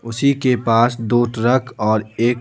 उसी के पास दो ट्रक और एक--